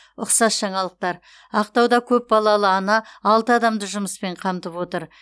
ұқсас жаңалықтар ақтауда көпбалалы ана алты адамды жұмыспен қамтып отыр